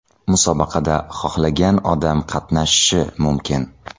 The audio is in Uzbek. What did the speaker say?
Musobaqada xohlagan odam qatnashishi mumkin.